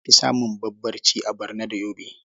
An fi samun Barbarci a Barno da Yobe.